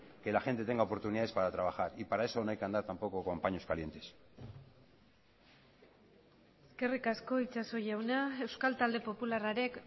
que la gente tenga oportunidades para trabajar y para eso no hay que andar tampoco con paños calientes eskerrik asko itxaso jauna euskal talde popularraren